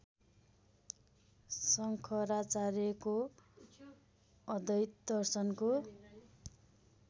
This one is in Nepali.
शङ्कराचार्यको अद्वैत दर्शनको